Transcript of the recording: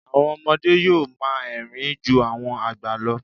Àwọn ọmọdé yó́ò máa érìn-ín ju àwọn àgbà lọ.